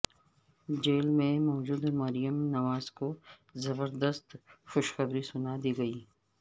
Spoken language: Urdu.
جیل میں موجود مریم نواز کو زبردست خوشخبری سنا دی گئی